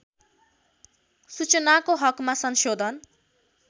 सूचनाको हकमा संशोधन